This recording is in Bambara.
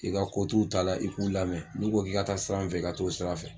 I ka ko t'u la i k'u lamɛn n'u ko k'i ka taa sira min fɛ i ka t'o sira fɛ.